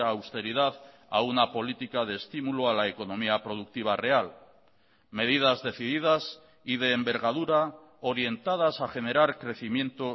austeridad a una política de estímulo a la economía productiva real medidas decididas y de envergadura orientadas a generar crecimiento